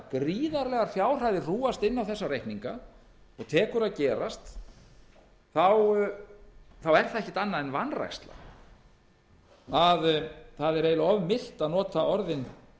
jafngríðarlegar fjárhæðir hrúgast inn á þessa reikninga og tók að gerast er það ekkert annað en vanræksla það er eiginlega of milt að nota orðin